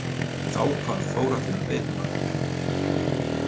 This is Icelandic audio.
Þá hvarf Þórhallur veiðimaður.